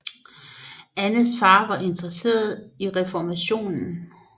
Annes far var interesseret i reformationen